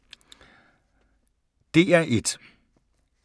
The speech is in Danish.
DR1